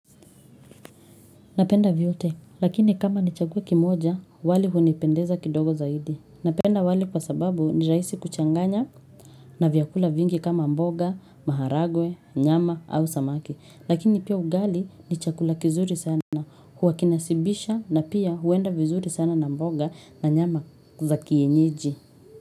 Napenda vyote. Lakini kama nichague kimoja, wali hunipendeza kidogo zaidi. Napenda wali kwa sababu ni rahisi kuchanganya na vyakula vingi kama mboga, maharagwe, nyama au samaki. Lakini pia ugali ni chakula kizuri sana. Huwa kinashibisha na pia huenda vizuri sana na mboga na nyama za kienyeji.